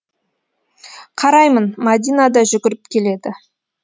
қараймын мәдина да жүгіріп келеді